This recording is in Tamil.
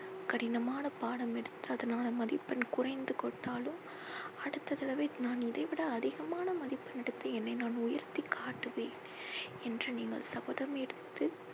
கடினமான பாடம் எடுத்ததனால் மதிப்பெண் குறைந்து கொண்டாலும் அடுத்த தடவை நான் இதை விட அதிகமான மதிப்பெண் எடுத்து என்னை நான் உயர்த்தி காட்டுவேன் என்று நீங்கள் சபதம் எடுத்து